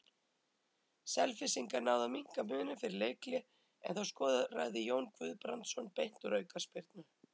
Selfyssingar náðu að minnka muninn fyrir leikhlé en þá skoraði Jón Guðbrandsson beint úr aukaspyrnu.